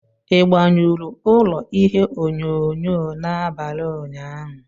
Ị gbanyụrụ ụlọ ihe onyonyo n'abalị ụnyaahụ?